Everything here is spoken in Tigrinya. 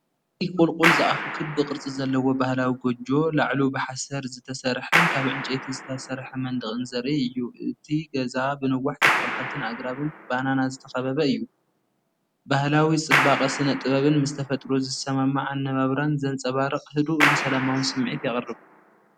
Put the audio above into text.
እዚ ቁልቁል ዝኣፉ ክቢ ቅርጺ ዘለዎ ባህላዊ ጎጆ፡ላዕሉ ብሓሰር ዝተሰርሐን ካብ ዕንጨይቲ ዝተሰርሐ መንደቕን ዘርኢ እዩ። እቲ ገዛ ብነዋሕቲ ተኽልታትን ኣግራብን ባናና ዝተኸበበ እዩ። ባህላዊ ጽባቐ ስነ-ጥበብን ምስ ተፈጥሮ ዝሰማማዕ ኣነባብራን ዘንጸባርቕ ህዱእን ሰላማውን ስምዒት የቕርብ።